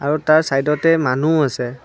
আৰু তাৰ চাইদতে মানুহ আছে।